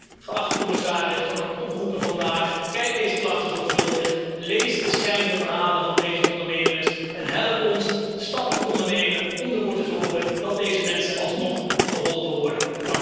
Ik wil u, geachte commissaris, vandaag dan ook oproepen bekijk deze klachten zorgvuldig, lees de schrijnende verhalen van deze ondernemers en help ons stappen te ondernemen om ervoor te zorgen dat deze mensen alsnog geholpen worden.